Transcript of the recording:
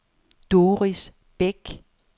Doris Bech